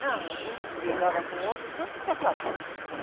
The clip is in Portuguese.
Não, um brigava com o outro, tanto que acabou, né?